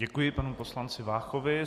Děkuji panu poslanci Váchovi.